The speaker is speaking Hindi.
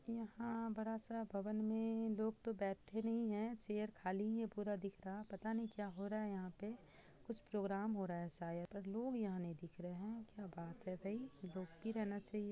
यहाँ--बड़ा सा भवन में लोग तो बैठे नहीं है चेयर खाली ही है पूरा दिख रहा पता नहीं क्या हो रहा है यहाँ पे कुछ प्रोग्राम हो रहा है शायद पर लोग यहाँ नहीं दिख रहे है क्या बात है भाई लोग भी रहना चाहिए।